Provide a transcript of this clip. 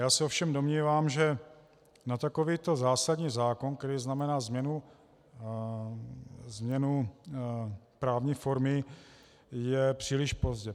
Já se ovšem domnívám, že na takovýto zásadní zákon, který znamená změnu právní formy, je příliš pozdě.